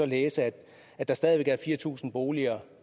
læse at der stadig væk er fire tusind boliger